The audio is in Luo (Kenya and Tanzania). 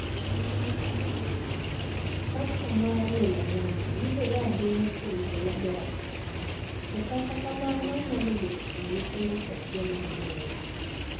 Kansa mar 'melanoma' yudore ahinya kuom joma dongo, to kata kamano onyalo bet kuom nyithindo kod joma ojende.